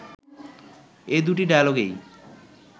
এ দুটি ডায়ালগেই